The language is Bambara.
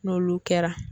N'olu kɛra